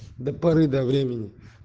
до поры до времени